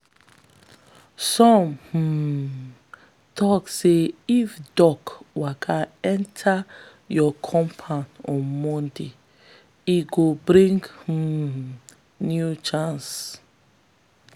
some um tok say if duck waka enter your compound on monday e go bring um new chance.